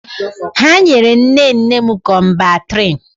Ha nyere nne nne m Kọmbantriṅ.